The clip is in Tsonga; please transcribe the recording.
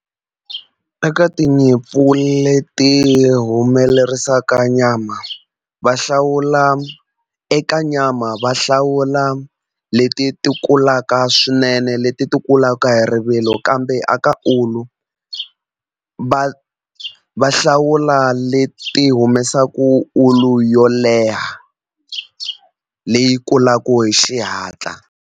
Eka tinyimpfu leti humelerisaka nyama va hlawula eka nyama va hlawula leti ti kulaka swinene leti ti kulaka hi rivilo kambe aka ulu va va hlawula leti humesaka ulu yo leha leyi kulaku hi xihatla.